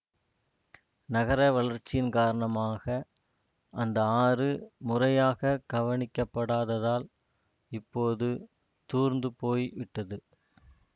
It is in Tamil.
நகர வளர்ச்சியின் காரணமாக அந்த ஆறு முறையாகக் கவனிக்கப் படாததால் இப்போது தூர்ந்து போய் விட்டது